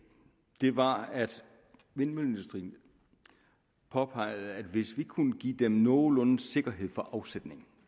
det var at vindmølleindustrien påpegede at hvis vi kunne give dem nogenlunde sikkerhed for afsætning